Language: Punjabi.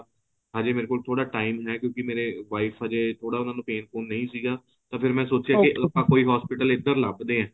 ਹਜੇ ਮੇਰੇ ਕੋਲ ਥੋੜਾ time ਹੈਂ ਕਿਉਂਕਿ wife ਹਜੇ ਥੋੜਾ ਉਹਨਾਂ ਨੂੰ pain ਪੁਨ ਨਹੀਂ ਸੀਗਾ ਤਾਂ ਮੈਂ ਸੋਚਿਆਂ ਆਪਾਂ ਕੋਈ hospital ਏਧਰ ਲਭਦੇ ਹਾਂ